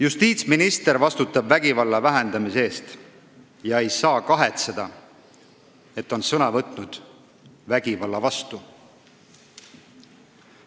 " Justiitsminister vastutab vägivalla vähendamise eest ega saa kahetseda, et ta on sõna võtnud vägivalla vastu.